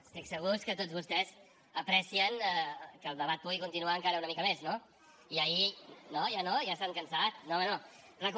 estic segur que tots vostès aprecien que el debat pugui continuar encara una mica més no i ahir